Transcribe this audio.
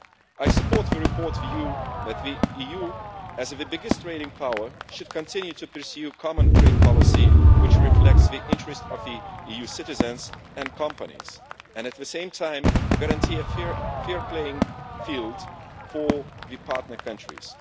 I support the report's view that the EU, as the biggest trading power, should continue to pursue common trade policy which reflects the interests of the EU citizens and companies and at the same time guarantees a fair playing field for the partner countries.